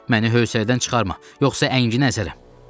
Məni hövsələdən çıxarma, yoxsa əngini əzərəm.